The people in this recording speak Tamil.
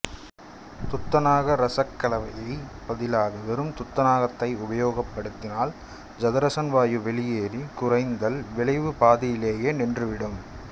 துத்தநாக இரசக்கலவைக்குப் பதிலாக வெறும் துத்தநாகத்தை உபயோகப்படுத்தினால் ஐதரசன் வாயு வெளியேறி குறைத்தல் விளைவு பாதியிலேயே நின்றுவிடும்